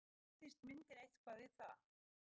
Katrín, skýrðist myndin eitthvað við það?